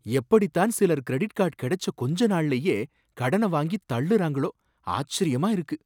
எப்படித்தான் சிலர் credit card கிடைச்ச கொஞ்ச நாள்லையே கடன வாங்கித் தள்ளுறாங்களோ! ஆச்சரியமா இருக்கு!